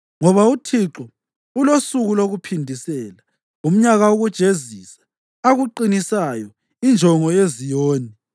Ngoba uThixo ulosuku lokuphindisela, umnyaka wokujezisa, ukuqinisa injongo yeZiyoni.